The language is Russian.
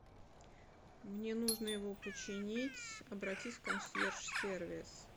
мне нужно его починить обратись в консьерж сервис